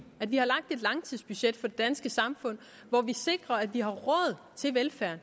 at vi har lagt et langtidsbudget for det danske samfund hvor vi sikrer at vi har råd til velfærd